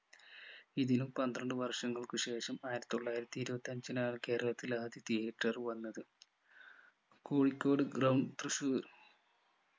ഇതിലും പന്ത്രണ്ടു വർഷങ്ങൾക്കു ശേഷം ആയിരത്തിത്തൊള്ളായിരത്തി ഇരുപത്തി അഞ്ചിലാണ് കേരളത്തിൽ ആദ്യ theatre വന്നത് കോഴിക്കോട് ground തൃശൂർ